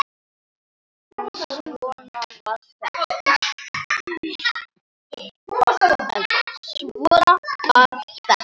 En svona var þetta.